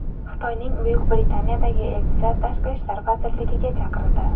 Xitoyning Buyuk Britaniyadagi elchisi Tashqi ishlar vazirligiga chaqirildi.